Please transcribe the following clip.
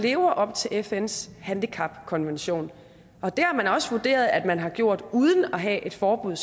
lever op til fns handicapkonvention og det har man også vurderet at man har gjort uden at have et forbud